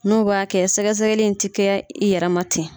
N'o b'a kɛ sɛgɛsɛgɛli ni tɛ kɛ i yɛrɛma ten.